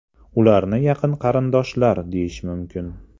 Ularni yaqin qarindoshlar deyish mumkin.